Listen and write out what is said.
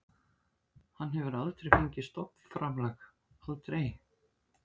Hann hefur aldrei fengið stofnframlag, aldrei.